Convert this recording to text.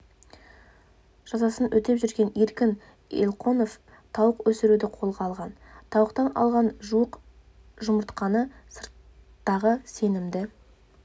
жазасын өтеп жүрген еркін елқонов тауық өсіруді қолға алған тауықтан алған жуық жұмыртқаны сырттағы сенімді